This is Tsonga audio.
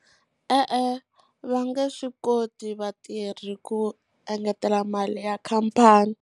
E-e, va nge swi koti vatirhi ku engetela mali ya khampani.